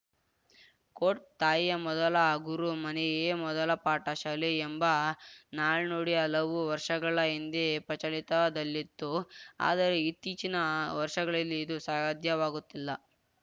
coat ತಾಯಿಯ ಮೊದಲ ಗುರು ಮನೆಯೇ ಮೊದಲ ಪಾಠ ಶಾಲೆ ಎಂಬ ನಾಣ್ನುಡಿ ಹಲವು ವರ್ಷಗಳ ಹಿಂದೆ ಪ್ರಚಲಿತದಲ್ಲಿತ್ತು ಆದರೆ ಇತ್ತೀಚಿನ ವರ್ಷಗಳಲ್ಲಿ ಇದು ಸಾಧ್ಯವಾಗುತ್ತಿಲ್ಲ